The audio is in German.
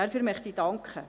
dafür möchte ich danken.